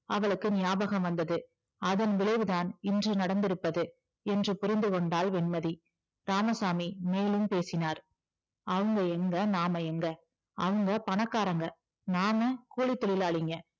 அவளுக்கு நியாபகம் வந்தது அதன் விளைவுதான் இன்று நடந்திருப்பது என்று புரிந்துகொண்டாள் வெண்மதி இராமசாமி மேலும் பேசினார் அவங்க எங்க நாம எங்க அவங்க பணக்காரங்க நாம கூலித்தொழிலாளிங்க